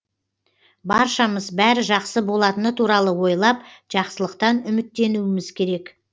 баршамыз бәрі жақсы болатыны туралы ойлап жақсылықтан үміттенуіміз керек